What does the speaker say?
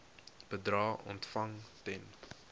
bedrae ontvang ten